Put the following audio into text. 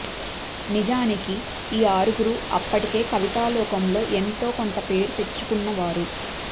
నిజానికి ఈ ఆరుగురూ అప్పటికే కవితాలోకంలో ఎంతో కొంత పేరు తెచ్చుకున్నవారు